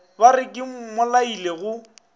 ba re ke mmolaile go